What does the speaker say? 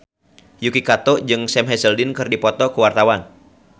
Yuki Kato jeung Sam Hazeldine keur dipoto ku wartawan